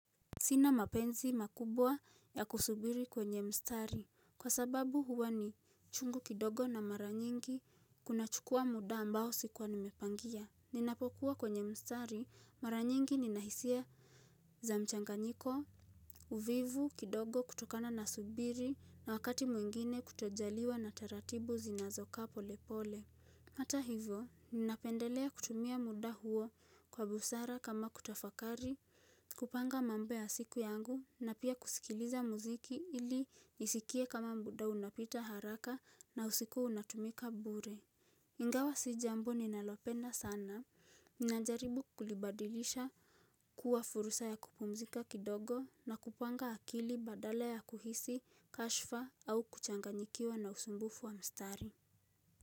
Sina mapenzi makubwa ya kusubiri kwenye mstari kwa sababu huwa ni chungu kidogo na mara nyingi kunachukua muda ambao sikuwa nimepangia. Ninapokuwa kwenye mstari mara nyingi nina hisia za mchanganyiko, uvivu kidogo kutokana na subiri na wakati mwingine kutojaliwa na taratibu zinazokaa pole pole. Hata hivyo, ninapendelea kutumia muda huo kwa busara kama kutafakari, kupanga mambo ya siku yangu na pia kusikiliza muziki ili nisikie kama muda unapita haraka na usiku unatumika bure. Ingawa si jambo ninalopenda sana. Ninajaribu kulibadilisha kuwa furusa ya kupumzika kidogo na kupanga akili badala ya kuhisi, kashfa au kuchanganyikiwa na usumbufu wa mstari.